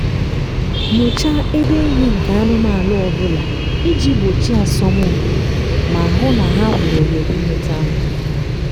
nyochaa ebe nri nke anụmanụ ọ bụla iji gbochie asọmpi ma hụ na ha nwere ohere inwete nri